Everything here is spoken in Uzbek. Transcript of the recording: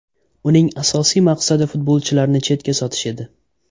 Uning asosiy maqsadi futbolchilarni chetga sotish edi.